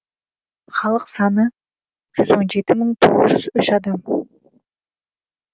халық саны жүз он жеті мың тоғыз жүз үш адам